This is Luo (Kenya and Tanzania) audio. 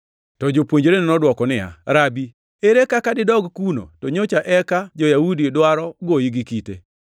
To jopuonjrene nodwoke niya, “Rabi, ere kaka didog kuno to nyocha eka jo-Yahudi dwaro goyi gi kite?”